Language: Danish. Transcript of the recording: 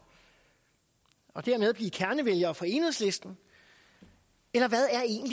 og dermed blive kernevælgere for enhedslisten eller hvad